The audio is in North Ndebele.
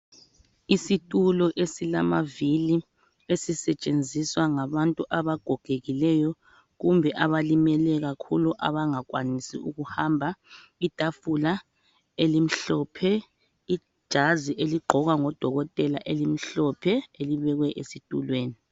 Isitulo esilamavili esisetshenziswa ngabantu abagogekileyo kumbe abalimele kakhulu abangakwanisi ukuhamba, itafula elimhlophe ijazi eligqokwa ngodokotela elimhlophe elibekwe esitulweni.